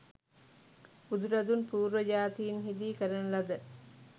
බුදුරදුන් පූර්ව ජාතීන් හිදී කරන ලද